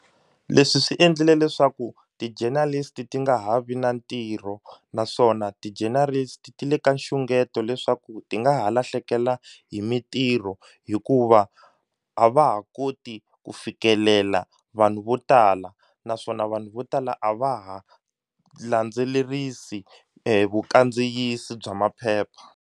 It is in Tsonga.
Leswi swi endlile leswaku ti-journalist ti nga ha vi na ntirho naswona ti-journalist ti le ka nxungeto leswaku ti nga ha lahlekela hi mintirho hikuva a va ha koti ku fikelela vanhu vo tala naswona vanhu vo tala a va ha landzelerisi vukandziyisi bya maphepha.